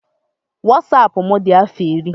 Wasapụ m dị afọ iri.